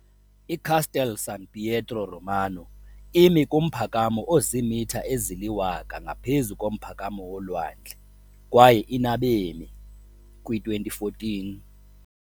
ICastel San Pietro Romano imi kumphakamo oziimitha eziliwaka ngaphezu komphakamo wolwandle kwaye inabemi, kwi 2014.